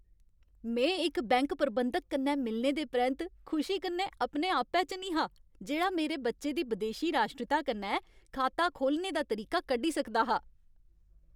में इक बैंक प्रबंधक कन्नै मिलने दे परैंत्त खुशी कन्नै अपने आपै च निं हा जेह्ड़ा मेरे बच्चे दी बदेशी राश्ट्रीता कन्नै खाता खोह्लने दा तरीका कड्ढी सकदा हा।